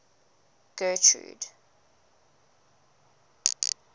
getrude